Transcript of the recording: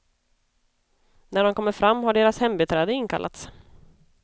När de kommer fram har deras hembiträde inkallats.